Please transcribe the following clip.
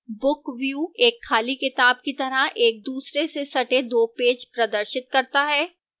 book view एक खुली किताब की तरह एकदूसरे से सटे दो पेज प्रदर्शित करता है